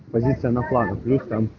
позиция на флангах у них там